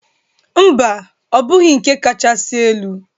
Mba, ọ bụghị nke kachasị elu.